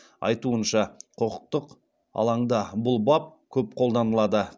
айтуынша құқықтық алаңда бұл бап көп қолданылады